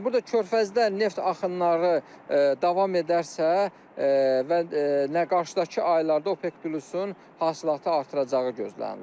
Yəni burda körfəzdə neft axınları davam edərsə və nə qarşıdakı aylarda OPEC Plusun hasilatı artıracağı gözlənilir.